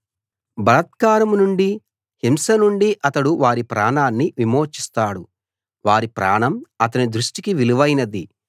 బలాత్కారం నుండీ హింస నుండీ అతడు వారి ప్రాణాన్ని విమోచిస్తాడు వారి ప్రాణం అతని దృష్టికి విలువైనది